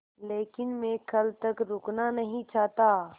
लेकिन मैं कल तक रुकना नहीं चाहता